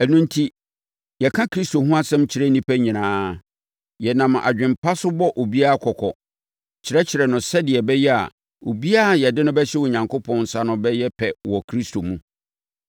Ɛno enti, yɛka Kristo ho asɛm kyerɛ nnipa nyinaa. Yɛnam adwene pa so bɔ obiara kɔkɔ, kyerɛkyerɛ no sɛdeɛ ɛbɛyɛ a obiara a yɛde no bɛhyɛ Onyankopɔn nsa no bɛyɛ pɛ wɔ Kristo mu.